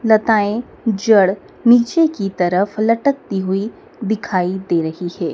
लताएं जड़ नीचे की तरफ लटकती हुई दिखाई दे रही है।